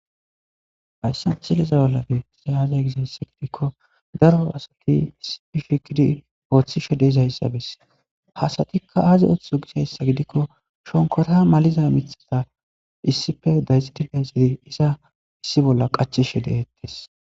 Hayssan cileza bolla bihitise aazey gisayssa gidikko daro asati issipi fhikidi ooththi sho des ayssabis hasatikka aazi ooththo gishayssa gidikko shonkota maliza mithada issife dayzidi dayzidi iza issi bolla qachishe deettes